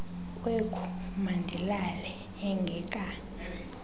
kwekhu mandilale engaka